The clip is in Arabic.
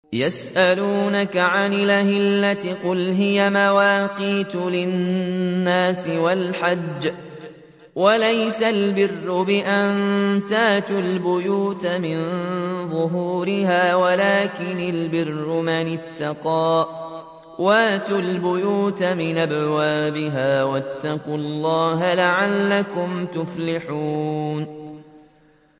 ۞ يَسْأَلُونَكَ عَنِ الْأَهِلَّةِ ۖ قُلْ هِيَ مَوَاقِيتُ لِلنَّاسِ وَالْحَجِّ ۗ وَلَيْسَ الْبِرُّ بِأَن تَأْتُوا الْبُيُوتَ مِن ظُهُورِهَا وَلَٰكِنَّ الْبِرَّ مَنِ اتَّقَىٰ ۗ وَأْتُوا الْبُيُوتَ مِنْ أَبْوَابِهَا ۚ وَاتَّقُوا اللَّهَ لَعَلَّكُمْ تُفْلِحُونَ